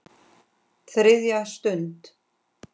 ÞRIÐJA STUND